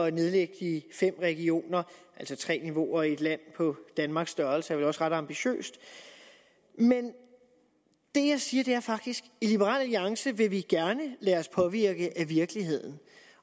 at nedlægge de fem regioner altså tre niveauer i et land på danmarks størrelse også ret ambitiøst men det jeg siger er faktisk i liberal alliance vil vi gerne lade os påvirke af virkeligheden